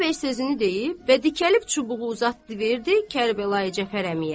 Xudayar bəy sözünü deyib və dikəlib çubuğu uzatdı verdi Kərbəlayi Cəfər əmiyə.